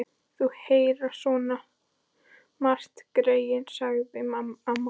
Þau heyra svo margt, greyin, sagði amma.